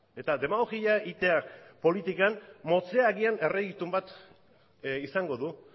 eta demagogia egitea politikan motzean agian bat izango du